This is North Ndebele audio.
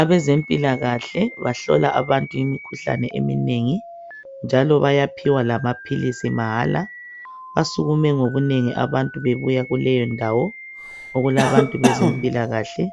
Abezempilakahle bahlola abantu imikhuhlane eminengi njalo bayaphiwa lamaphilisi mahala, basukume ngobunengi abantu bebuya kuleyo ndawo okulabantu bezempilakahle